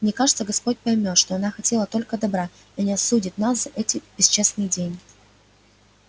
мне кажется господь поймёт что она хотела только добра и не осудит нас эти бесчестные деньги